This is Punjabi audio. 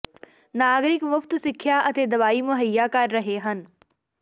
ਨਾਗਰਿਕ ਮੁਫ਼ਤ ਸਿੱਖਿਆ ਅਤੇ ਦਵਾਈ ਮੁਹੱਈਆ ਕਰ ਰਹੇ ਹਨ